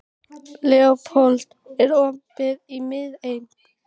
Leópold, er opið í Miðeind?